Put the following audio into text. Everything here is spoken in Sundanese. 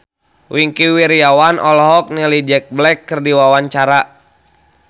Wingky Wiryawan olohok ningali Jack Black keur diwawancara